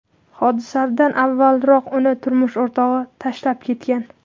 Hodisadan avvalroq uni turmush o‘rtog‘i tashlab ketgan.